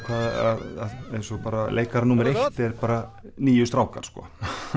að eins og leikari númer eitt eru bara níu strákar sko